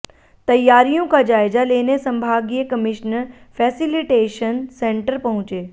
तैयारियों का जायजा लेने संभागीय कमिश्नर फैसिलिटेशन सेंटर पहुँचे